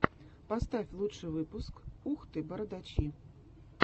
поставь лучший выпуск ух ты бородачи